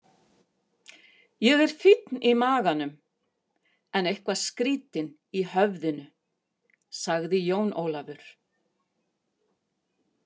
Ég er fínn í maganum, en eitthvað skrýtinn í höfðinu, sagði Jón Ólafur.